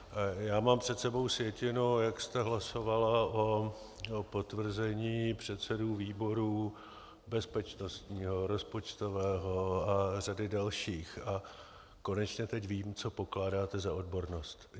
Já mám před sebou sjetinu, jak jste hlasovala o potvrzení předsedů výborů bezpečnostního, rozpočtového a řady dalších, a konečně teď vím, co pokládáte za odbornost.